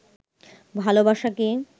ভালোবাসাকে